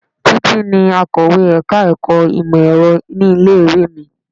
Títí ni akọ̀wé ẹ̀ka-ẹ̀kọ́ ìmọ̀-Ẹ̀rọ ní ilé-ìwé mi.